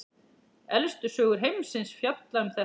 Elstu sögur heimsins fjalla um þetta.